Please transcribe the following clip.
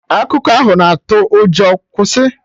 Akụkọ ahụ na atụ ụjọ, kwụsị!